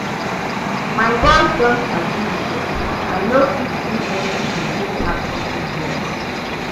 My boss don sabi me well, I no fit do anything wey pass office work